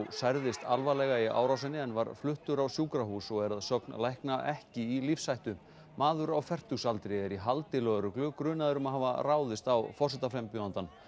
særðist alvarlega í árásinni en var fluttur á sjúkrahús og er að sögn lækna ekki í lífshættu maður á fertugsaldri er í haldi lögreglu grunaður um að hafa ráðist á forsetaframbjóðandann